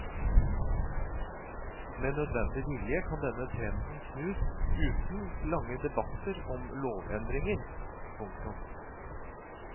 Med nødvendig vilje kan denne trenden snus uten lange debatter om lovendringer. punktum